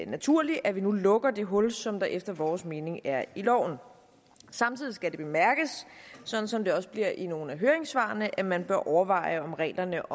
naturligt at man nu lukker det hul som der efter vores mening er i loven samtidig skal det bemærkes sådan som det også bliver i nogle af høringssvarene at man bør overveje om reglerne